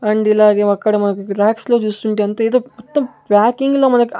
and ఇలాగే అక్కడ మనకి రాక్స్ లో చుస్తుంటే అంతా ఎదో మొత్తం ప్యాకింగ్ లో మనకి --